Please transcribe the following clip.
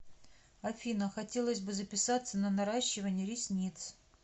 афина хотелось бы записаться на наращивание ресниц